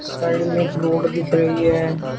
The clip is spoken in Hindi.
साइड में एक रोड दिख रही है।